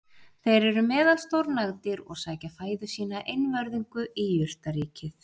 Þeir eru meðalstór nagdýr og sækja fæðu sína einvörðungu í jurtaríkið.